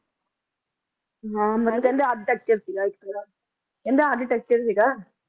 ਹਾਂ ਕਹਿੰਦੇ ਆਰਚੀਟੈਕਚਰ ਸੀ ਗਾ ਇਕ ਕਹਿੰਦੇ ਆਰਚੀਟੈਕਚਰ ਸੀ ਗਾ ਇਕ